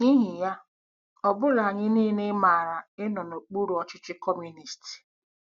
N'ihi ya, ọ bụla anyị niile ịmara ịnọ n'okpuru ọchịchị Kọmunist.